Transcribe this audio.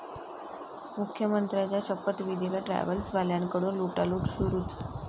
मुख्यमंत्र्यांचा शपथविधीलाही ट्रॅव्हल्सवाल्यांकडून लुटालूट सुरूच